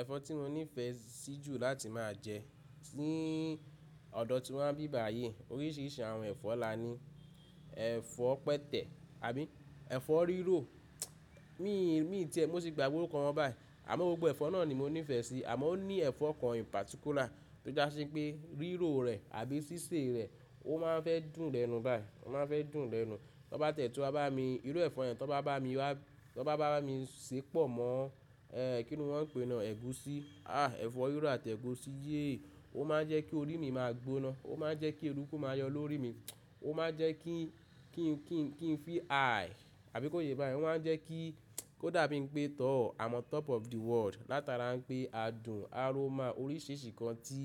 Ẹ̀fọ́ tí mo nífẹ̀ẹ́ sí jù láti má a jẹ, ní ọ̀dọ́ tí wa n bí bàyi oríṣìíríṣìí àwọn ẹ̀fọ́ la ní, ẹ̀fọ́ pẹtẹ̀ àbí ẹ̀fọ́ rírò, mí ì tẹ̀ mo se gbagbe orúkọ wọn báyìí àmọ́ gbogbo ẹ̀fọ́ náà ni mo nífẹ̀ẹ́ sí àmọ́ ó ní ẹ̀fọ́ kan in particular tó jásí pé rírò rè àbí sísè rè ó ma n fẹ́ dùn lẹ́nu báyìí, ó ma n fẹ́ dùn lẹ́nu. Tóbá tẹ̀ tu wa bá mi irú ẹ̀fọ́ yẹn, tó bá bá mi wá, tó bá bá mi ṣe pọ̀ mọ́ kíni wọ́n ń pè náà ẹ̀gúsí, ah ẹ̀fọ́ rírò àti ẹ̀gúsí yé ó má n jẹ́ kí orí mi máa gbóná, ó má n jẹ́ kí eruku máa yọ lórí mi, ó ma n jẹ́ kí n kí n kí n kí n feel high àbí kó ṣe báyìí, ó ma n jẹ́ kí ó dà bí pé tọ́ I'm on top of the world látara pé adùn aroma oríṣìíríṣìí nkan tí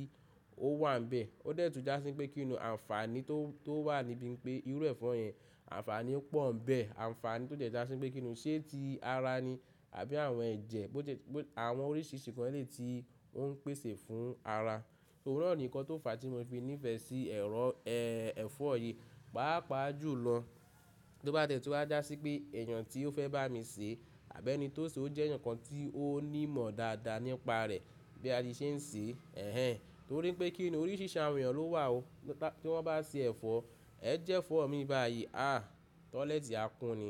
ó wà nbẹ̀ ó dẹ̀ tún jásí pé kí ni o ànfàní tó wà níbí pé irú ẹ̀fọ́ yẹn ànfàní pọ̀ níbẹ̀ ànfàní tó jẹ́ jásí pé kí nù ṣé ti ara ni àbí àwọn ẹ̀jẹ̀ bó jẹ́ pé àwọn oríṣìíríṣìí nkan elè yi tí ó n pèsè fún ara. Òun náà ni kan tó fàá tí mo fi nífẹ̀ẹ́ sí ẹ̀rọ ẹ́ ẹ̀fọ́ yìí, pàápàá jù lọ tóbá tiẹ̀ tun wa já sí pé èèyàn tí ó fẹ́ bá mi sè àbí ẹni tó sè ó jẹ́ ẹnìkan tí ó ní ìmọ̀ dáadáa nípa rẹ̀ bí a ti ṣe ń sè ẹ́ hhen torí pé kí nù oríṣìíríṣìí àwọn èèyàn ló wà ó tí wọ́n bá ṣe ẹ̀fọ́. Ẹ jẹ́ fọ̀ mí báyìí ah toilet àkún ni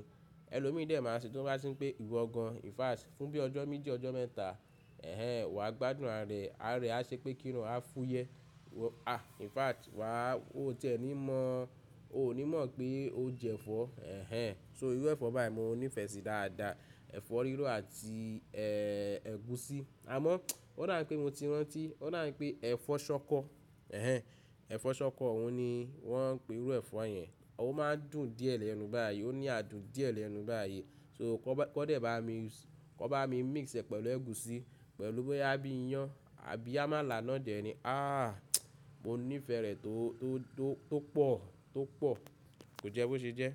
ẹlòmíì dé máa ṣe tí bá sín pé ìwọ gan infact fún bí ọjọ́ méjì ọjọ́ mẹ́ta ẹ́ hhen wà gbádùn arà ẹ ára a ṣe pé kíni o á fúyẹ́ wọ ah infact wà ó tiẹ́ ẹ ní mọ̀ ọ ò ní mọ̀ pé o jẹ́ ẹ̀fọ́ ẹ́ hhen so irú ẹ̀fọ́ báyen mo nífẹ̀ẹ́ sí dáadáa ẹ̀fọ́ rírò àti ẹ́ ẹ̀gúsí àmọ́ ó dà pé mo ti rántí ó dà pé ẹ̀fọ́ ṣọkọ ẹ́ hhen ẹ̀fọ́ ṣọkọ òun ni wọ́n ń pe irú ẹ̀fọ́ yẹn ó má n dùn díẹ̀ lẹ́nu báyìí ó ní adùn díẹ̀ lẹ́nu báyìí so kó bá kọ́ dé bá mi kó bá mi mix ẹ pẹ̀lú ẹ̀gúsí pẹ̀lú bí a bí iyán àbí a má là á náà dẹ̀ ní ah mo nífẹ̀ẹ́ rẹ̀ tó pọ̀ tó pọ̀ kò jẹ́ bó ṣe jẹ́.